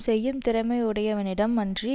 செய்யும் திறமை உடையவனிடம் அன்றி